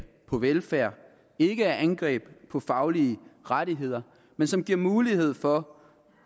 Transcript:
på velfærd ikke er et angreb på faglige rettigheder men som giver mulighed for